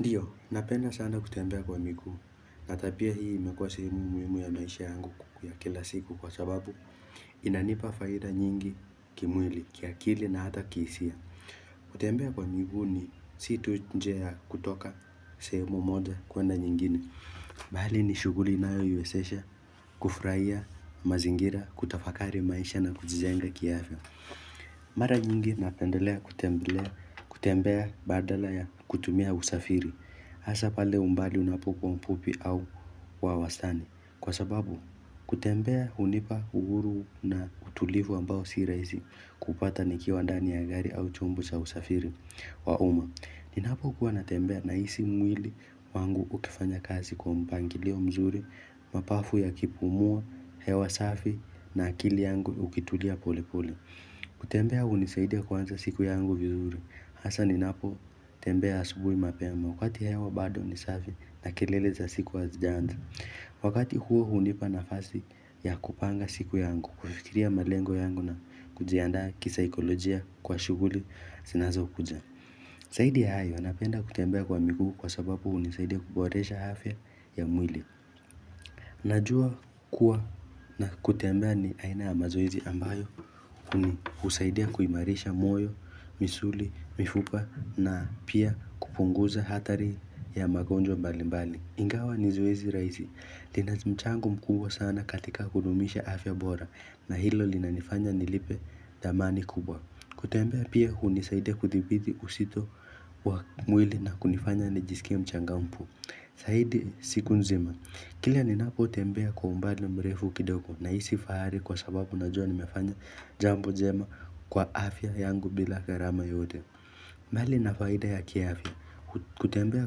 Ndio, napenda sana kutembea kwa miguu. Na hata pia hii imekuwa sehemu muhimu ya maisha yangu ya kila siku kwa sababu. Inanipa faida nyingi kimwili, kiakili na hata kihisia. Kutembea kwa miguu ni si tu njia ya kutoka sehemu moja kuenda nyingine. Bali ni shughuli inayoniwezesha, kufurahia mazingira, kutafakari maisha na kujijenga kiafya. Mara nyingi napendelea, kutembelea, kutembea, badala ya kutumia usafiri. Hasa pale umbali unapokuwa mfupi au wa wastani. Kwa sababu, kutembea hunipa uhuru na utulivu ambao si rahisi kupata nikiwa ndani ya gari au chombo cha usafiri wa umma. Ninapokuwa natembea nahisi mwili wangu ukifanya kazi kwa mpangilio mzuri, mapafu yakipumua hewa safi na akili yangu ukitulia pole pole. Kutembea hunisaidia kuanza siku yangu vizuri. Hasa ninapo tembea asubuhi mapema wakati hewa bado ni safi na kelele za siku hazijaanza. Wakati huo hunipa nafasi ya kupanga siku yangu, kufikiria malengo yangu na kujiandaa kisaikolojia kwa shughuli zinazokuja. Zaidi ya hayo napenda kutembea kwa miguu kwa sababu hunisaidia kuboresha afya ya mwili. Najua kuwa na kutembea ni aina ya mazoezi ambayo husaidia kuimarisha moyo, misuli, mifupa na pia kupunguza hatari ya magonjwa mbalimbali. Ingawa ni zoezi rahisi, lina mchango mkubwa sana katika kudumisha afya bora. Na hilo linanifanya nilipe dhamani kubwa. Kutembea pia hunisaidia kuthibiti uzito wa mwili na kunifanya nijisikie mchangamfu zaidi siku nzima. Kila ninapotembea kwa umbali mrefu kidogo, nahisi fahari kwa sababu najua nimefanya jambo jema kwa afya yangu bila gharama yoyote. Mbali na faida ya kiafya, kutembea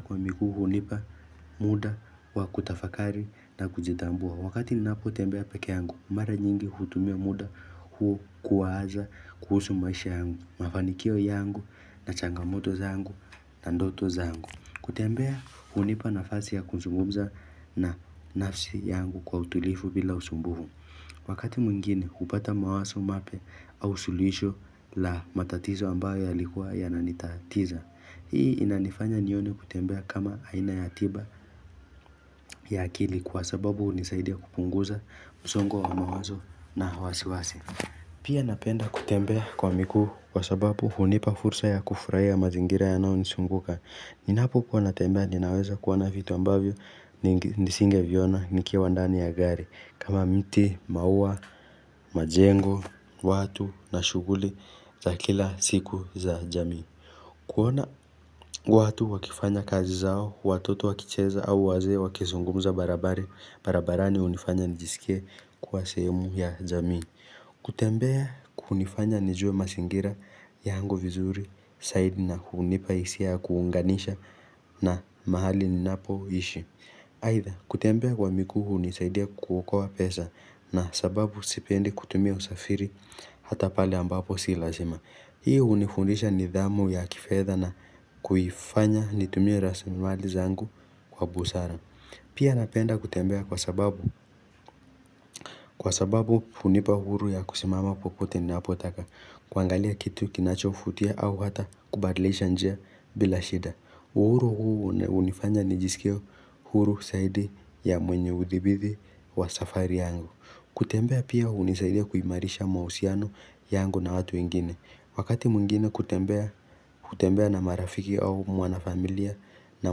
kwa miguu hunipa muda wa kutafakari na kujitambua. Wakati ninapotembea peke yangu, mara nyingi hutumia muda huo kuwaza kuhusu maisha yangu. Mafanikio yangu na changamoto zangu na ndoto zangu. Kutembea hunipa nafasi ya kuzungumza na nafsi yangu kwa utulivu bila usumbufu. Wakati mwingine, hupata mawazo mapya au suluhisho la matatizo ambayo yalikuwa yananitatiza. Hii inanifanya nione kutembea kama aina ya tiba ya akili kwa sababu hunisaidia kupunguza msongo wa mawazo na wasiwasi. Pia napenda kutembea kwa miguu kwa sababu hunipa fursa ya kufurahia mazingira yanaonizunguka. Ninapokuwa natembea ninaweza kuona vitu ambavyo nisingeviona nikiwa ndani ya gari. Kama miti, maua, majengo, watu na shughuli za kila siku za jamii kuona watu wakifanya kazi zao, watoto wakicheza au wazee wakizungumza barabarani hunifanya nijisikie kuwa sehemu ya jamii. Kutembea kunifanya nijue mazingira yangu vizuri zaidi na hunipa hisia ya kuunganisha na mahali ninapoishi Aidha kutembea kwa miguu hunisaidia kuokoa pesa. Na sababu sipendi kutumia usafiri hata pale ambapo si lazima. Hii hunifundisha nidhamu ya kifedha na kuifanya nitumie rasilimali zangu kwa busara. Pia napenda kutembea kwa sababu kwa sababu hunipa uhuru ya kusimama popote ninapotaka. Kuangalia kitu kinachovutia au hata kubadilisha njia bila shida. Uhuru huu hunifanya nijisikie huru zaidi ya mwenye udhibiti wa safari yangu. Kutembea pia hunisaidia kuimarisha mahusiano yangu na watu wengine. Wakati mwingine kutembea na marafiki au mko na familia na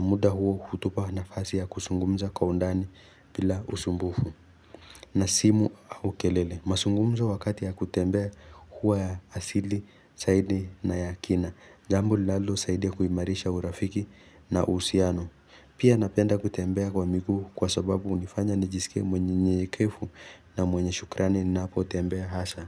muda huu hutupa nafasi ya kuzungumza kwa undani bila usumbufu. Na simu au kelele. Mazungumzo wakati ya kutembea huwa ya asili zaidi na ya kina. Jambo linalosaidia kuimarisha urafiki na uhusiano. Pia napenda kutembea kwa miguu kwa sababu hunifanya nijisikie mnyenyekevu. Na mwenye shukrani ninapotembea hasa.